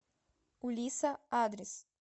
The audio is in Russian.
у лиса адрес